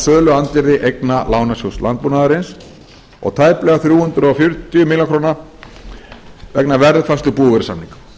söluandvirði eigna lánasjóðs landbúnaðarins og tæplega þrjú hundruð fjörutíu milljónir króna vegna verðuppfærslu búvörusamninga